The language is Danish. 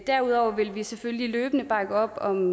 derudover vil vi selvfølgelig løbende bakke op om